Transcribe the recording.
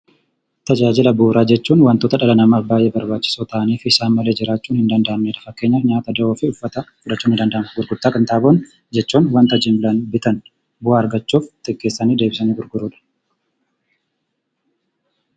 Tajaajila bu'uuraa jechuun waantota dhala namaaf baay'ee barbaachisoo ta'anii fi isaan malee jiraachuun hin danda'amnedha. Fakkeenyaaf, nyaata, jiruufi uffata jechuun ni danda'ama. Gurgurtaa qinxaaboo jechuun waanta jimlaan bitan bu'aa argachuuf xiqqeessanii deebisanii gurguruudha.